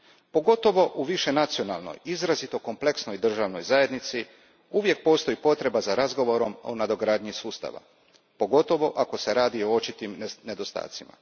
Pogotovo u višenacionalnoj, izrazito kompleksnoj državnoj zajednici gdje uvijek postoji potreba za razgovorom o nadogradnji sustava, posebno ako se radi o očitim nedostacima.